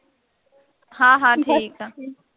ਹਾਂ ਹਾਂ ਠੀਕ ਆ,